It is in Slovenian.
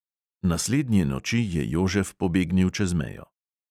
Naslednje noči je jožef pobegnil čez mejo.